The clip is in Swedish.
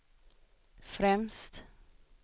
främst